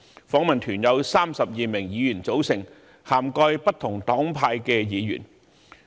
訪問團由32名議員組成，涵蓋不同黨派的議員。